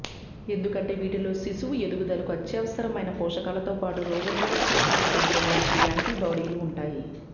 ఎందుకంటే వీటిలో శిశువు ఎదుగుదలకు అత్యవసరమైన పోషకాలతో పాటు రోగనిరోధకశక్తిని పెంపొందించే యాంటీబాడీలూ ఉంటాయి